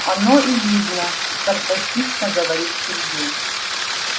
оно и видно саркастично говорит сергей